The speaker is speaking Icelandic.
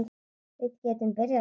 Við getum byrjað svona